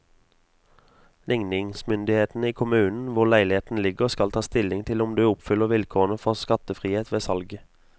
Ligningsmyndighetene i kommunen hvor leiligheten ligger skal ta stilling til om du oppfyller vilkårene for skattefrihet ved salget.